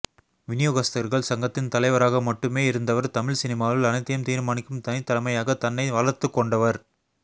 விநியோகஸ்தர்கள் சங்கத்தின் தலைவராக மட்டுமே இருந்தவர் தமிழ் சினிமாவில் அனைத்தையும் தீர்மானிக்கும் தனித் தலைமையாக தன்னை வளர்த்துக் கொண்டவர்